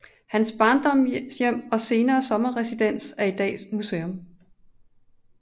Hans barndomshjem og senere sommerresidens er i dag museum